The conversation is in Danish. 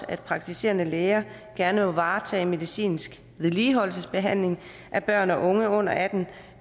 at praktiserende læger gerne må varetage medicinsk vedligeholdelsesbehandling af børn og unge under atten år